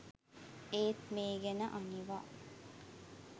ඒත් මේ ගැන අනිවා